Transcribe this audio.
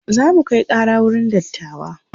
zamu Kai Kara wurin dattawa